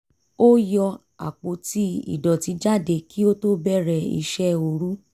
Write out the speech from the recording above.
ó yọ àpótí ìdọ̀tí jáde kí ó tó bẹ̀rẹ̀ iṣẹ́ orú